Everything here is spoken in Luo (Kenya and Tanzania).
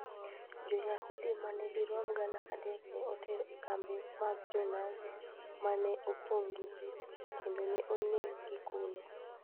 Jo-Yahudi ma dirom gana adek ne oter e kembe mag Jo-Nazi ma ne opong' gi ji, kendo ne oneggi kuno.